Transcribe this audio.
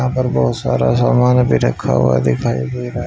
अंदर बहुत सारा सामान भी रखा हुआ दिखाई दे रहा है।